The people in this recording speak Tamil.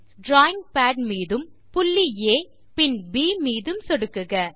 டிராவிங் பாட் மீதும் புள்ளி ஆ மற்றும் பின் ப் மீதும் சொடுக்குக